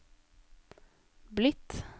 blitt